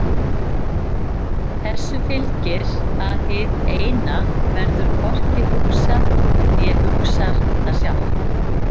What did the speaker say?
Þessu fylgir að hið Eina verður hvorki hugsað né hugsar það sjálft.